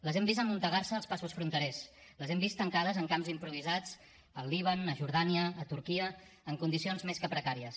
les hem vist amuntegar se als passos fronterers les hem vist tancades en camps improvisats al líban a jordània a turquia en condicions més que precàries